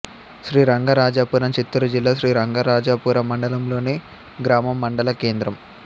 శ్రీరంగరాజాపురం చిత్తూరు జిల్లా శ్రీరంగరాజపురం మండలంలోని గ్రామం మండల కేంద్రం